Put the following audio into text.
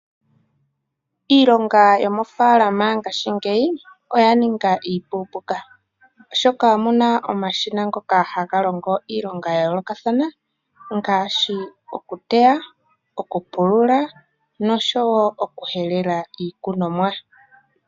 Iilonga yomoofalama ngaashingeyi oya ninga iipupuuka, oshoka omuna omashina ngoka haga longo iilonga ya yoolokathana ngaashi okuteya, okupulula noshowo okuhelela iikunomwa.